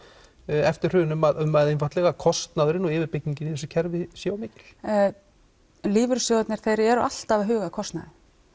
eftir hrun um að um að einfaldlega kostnaðurinn og yfirbyggingin í þessu kerfi sé of mikil lífeyrissjóðir eru alltaf að huga að kostnaði